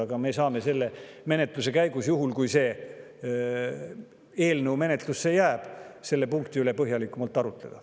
Aga me saame selle menetluse käigus, juhul kui see eelnõu menetlusse jääb, selle punkti üle põhjalikumalt arutleda.